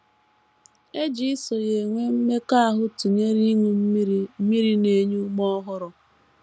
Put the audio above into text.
E ji iso ya enwe mmekọahụ tụnyere ịṅụ mmiri mmiri na - enye ume ọhụrụ.